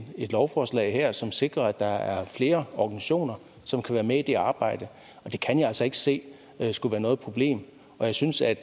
et lovforslag her som sikrer at der er flere organisationer som kan være med i det arbejde og det kan jeg altså ikke se skulle være noget problem jeg synes at